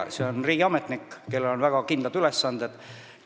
Talituse juht on riigiametnik, kellel on väga kindlad ülesanded.